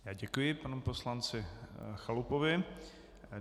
Já děkuji panu poslanci Chalupovi.